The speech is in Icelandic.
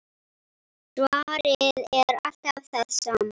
Svarið er alltaf það sama.